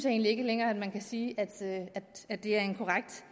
egentlig ikke længere at man kan sige at det er en korrekt